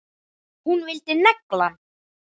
Nei, Kalli minn.